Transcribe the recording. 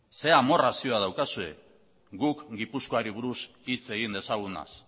zer amorrazioa daukazue guk gipuzkoari buruz hitz egin dezagunaz